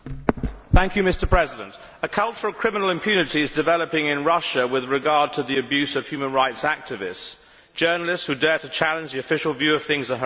Mr President, a culture of criminal impunity is developing in Russia with regard to the abuse of human rights activists. Journalists who dare to challenge the official view of things are harassed